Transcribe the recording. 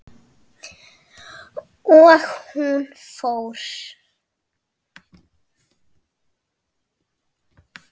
Og hún fór.